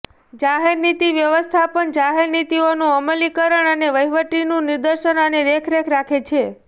જાહેર નીતિ વ્યવસ્થાપન જાહેર નીતિઓનું અમલીકરણ અને વહીવટનું નિર્દેશન અને દેખરેખ રાખે છે